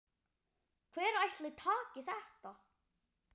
Hver ætli taki þetta?